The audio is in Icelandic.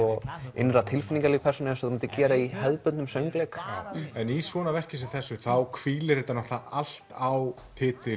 innra tilfinningalíf persónu eins og það myndi gera í hefðbundnum söngleik já en í svona verki eins og þessu þá hvílir þetta allt á